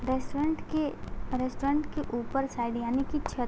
restaurant के restaurant के ऊपर साइड यानी की छत --